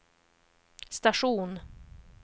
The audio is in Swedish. station